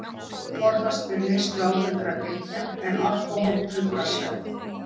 Forðast ber neyslu áfengra drykkja, en alkóhól truflar svefn.